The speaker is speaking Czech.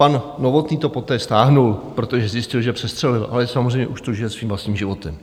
Pan Novotný to poté stáhl, protože zjistil, že přestřelil, ale samozřejmě už to žije svým vlastním životem.